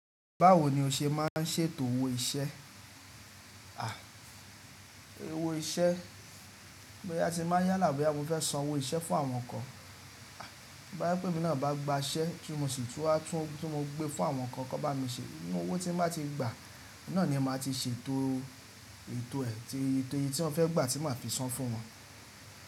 Báwo ni o ṣe má ń ṣètò owó iṣẹ́? Owó iṣẹ́ boya ti máa yálà bóyá mo fẹ́ san owó iṣẹ́ fún àwọn kan. Bóyá pé emí náà bá gba iṣẹ́ tí mo sì tún wá tún tí mo gbé fún àwọn kan, kò bá mi ṣe, ninu owó tí n bá ti gbà náà ni màá ti ṣètò èto ẹ̀ tí ètò yìí tí wọ́n fẹ́ gbà tí màá fi san fún wọn.